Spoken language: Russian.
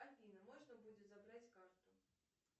афина можно будет забрать карту